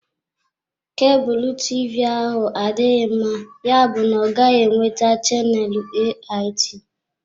Kebulu TV ahụ adịghị mma, yabụ na ọ gaghị enweta chaneelu AIT.